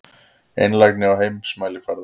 Einlægni á heimsmælikvarða.